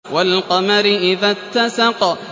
وَالْقَمَرِ إِذَا اتَّسَقَ